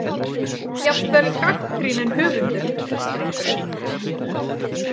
Jafnvel gagnrýninn höfundur treystir einhverju.